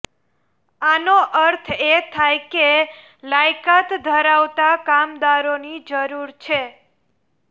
આનો અર્થ એ થાય કે લાયકાત ધરાવતા કામદારોની જરૂર છે